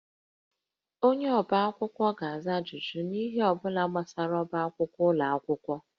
Onye ọbá akwụkwọ ga-aza ajụjụ n'ihe ọ bụla gbasara ọbá akwụkwọ ụlọ akwụkwọ